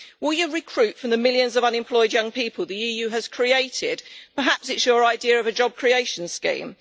Will you recruit from the millions of unemployed young people the EU has created? Perhaps it is your idea of a job creation scheme.